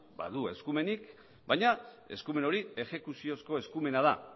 badu eskumenik baina eskumen hori exekuziozko eskumena da